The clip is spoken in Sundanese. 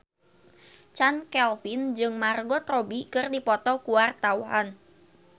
Chand Kelvin jeung Margot Robbie keur dipoto ku wartawan